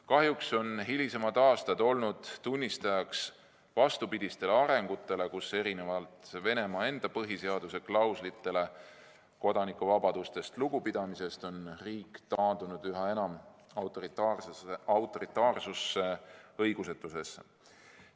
Kahjuks on hilisemad aastad olnud tunnistajaks vastupidisele arengule: erinevalt Venemaa enda põhiseaduse klauslitele kodanikuvabadustest lugupidamise kohta on riik taandunud üha enam autoritaarsusesse, õigusetusesse.